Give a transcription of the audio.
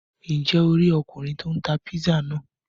Njẹ o ri Ọkùnrin tí o n tá pizza náà?